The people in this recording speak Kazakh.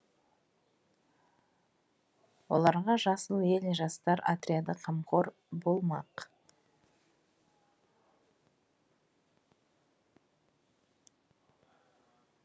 оларға жасыл ел жастар отряды қамқор болмақ